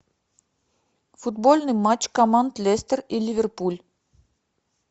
футбольный матч команд лестер и ливерпуль